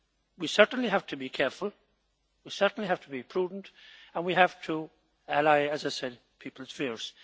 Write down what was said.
We certainly have to be careful, we certainly have to be prudent and we have to allay, as I said, people's fears.